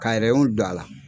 Ka don a la.